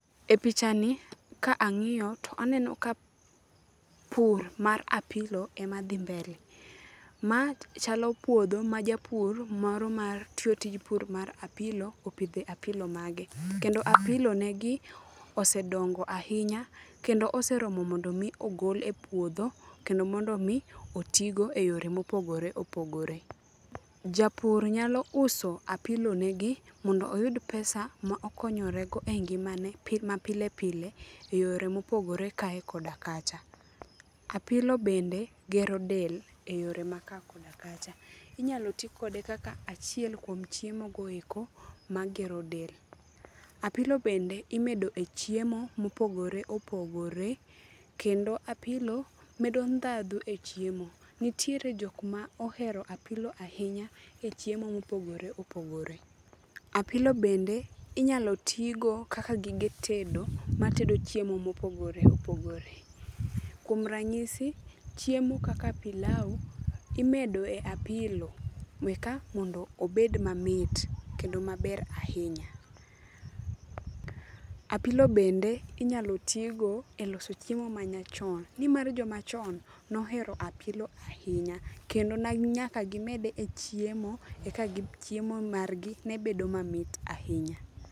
E pichani ka angíyo, to aneno ka pur mar apilo ema dhi mbele. Ma chalo puodho ma japur moro mar tiyo tij pur mar apilo, opidho e apilo mage, kendo apilo negi osedongo ahinya, kendo oseromo mondo mi ogol e puodho, kendo mondo omi, oti go e yore mopogore opogore. Japur nyalo uso apilo negi mondo oyud pesa ma okonyorego e ngimane ma pile pile, e yore mopogore, kae koda kacha. Apilo bende gero del, e yore ma kae koda kacha. Inyalo ti kode kaka achiel kuom chiemogo eko magero del. Apilo bende imedo e chiemo mopogore opogore, kendo apilo medo ndhadhu e chiemo. Nitiere jok ma ohero apilo ahinya e chiemo mopogore opogore. Apilo bende inyalo tii go kaka gige tedo, matedo chiemo mopogore opogore. Kuom ranyisi, chiemo kaka pilao imedo e apilo, eka mondo obed mamit, kendo maber ahinya. Apilo bende inyalo tii go e loso chiemo ma nyachon, ni mar jomachon nohero apilo ahinya. Kendo ne nyaka gimed e chiemo eka chiemo margi ne bedo mamit ahinya.